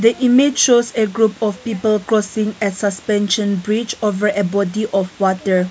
the image of group of people crossing bridge and water body of water.